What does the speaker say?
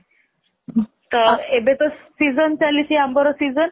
ତ ଏବେ ତ season ଚାଲିଛି ଆମ୍ବର season